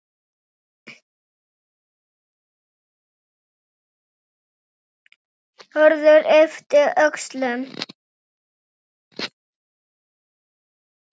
Hörður yppti öxlum.